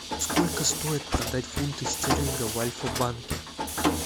сколько стоит продать фунты стерлингов в альфа банке